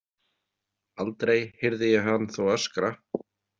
Aldrei heyrði ég hann þó öskra.